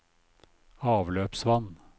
avløpsvann